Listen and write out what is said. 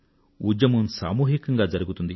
ఉద్యమం సామూహికంగా జరుగుతుంది